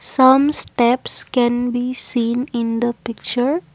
some steps can be seen in the picture.